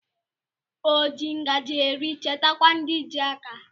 O ji ngaji eri chetakwa ndi ji aka